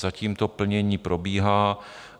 Zatím to plnění probíhá.